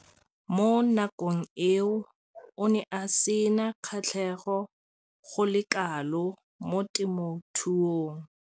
Mo nakong eo o ne a sena kgatlhego go le kalo mo temothuong.